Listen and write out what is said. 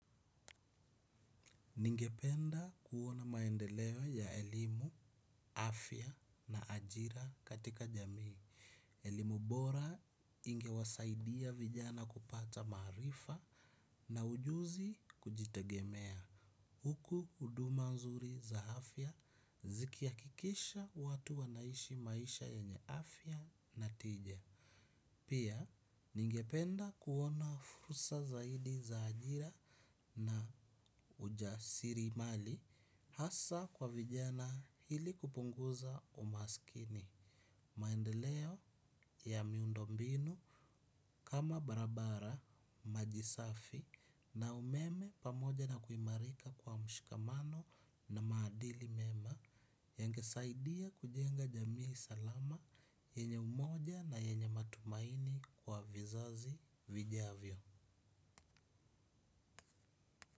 Ningependa kuona maendeleo ya elimu, afya na ajira katika jamii. Elimu bora ingewasaidia vijana kupata maarifa na ujuzi kujitegemea. Huku huduma nzuri za afya zikihakikisha watu wanaishi maisha yenye afya na tija. Pia, ningependa kuona furusa zaidi za ajira na ujasirimali. Hasa kwa vijana ili kupunguza umaskini. Maendeleo ya miundombinu kama barabara maji safi na umeme pamoja na kuimarika kwa mshikamano na maadili mema yangesaidia kujenga jamii salama yenye umoja na yenye matumaini kwa vizazi vijavyo.